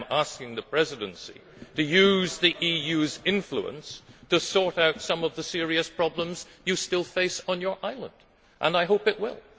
I am asking the Presidency to use the EU's influence to sort out some of the serious problems you still face on your island and I hope it will.